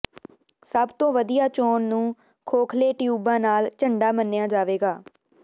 ਸਭ ਤੋਂ ਵਧੀਆ ਚੋਣ ਨੂੰ ਖੋਖਲੇ ਟਿਊਬਾਂ ਨਾਲ ਝੰਡਾ ਮੰਨਿਆ ਜਾਵੇਗਾ